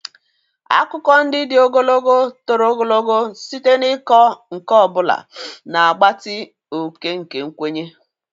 Akụkọ ndị dị ogologo toro ogologo site n'ịkọ nke ọ bụla, na-agbatị oke nke nkwenye.